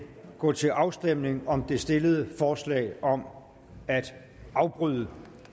gå til afstemning om det stillede forslag om at afbryde